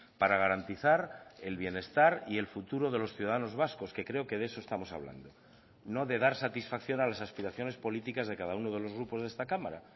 para garantizar el bienestar y el futuro de los ciudadanos vascos que creo que de eso estamos hablando no de dar satisfacción a las aspiraciones políticas de cada uno de los grupos de esta cámara